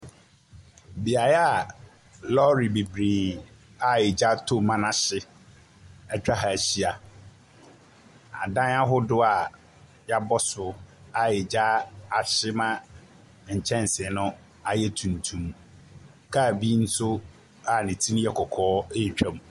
Beaeɛ a lɔre bebree a gya atom ma ahye atwa ha ahyia. Adan ahodoɔ a wɔabɔ so a gya ahye ma nkyɛnsee no ayɛ tuntum. Kaa bi nso a ne ti no yɛ kɔkɔɔ retwam.